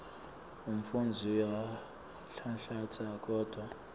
umfundzi uyanhlanhlatsa kodvwa